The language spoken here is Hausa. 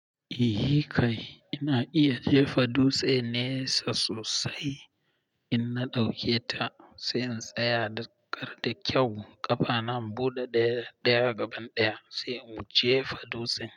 Yi hikay, ina iya jefa dutse nesa sosai, ina ɗauke ta sai in tsaya dakar da kyau ƙafa nan buɗe ɗaya gaban ɗaya sai in wuce fa dutsen.